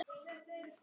Þín, Fjóla.